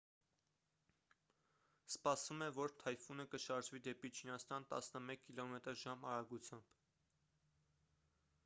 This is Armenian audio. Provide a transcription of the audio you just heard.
սպասվում է որ թայֆունը կշարժվի դեպի չինաստան տասնմեկ կմ/ժ արագությամբ: